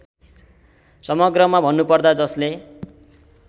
समग्रमा भन्नुपर्दा जसले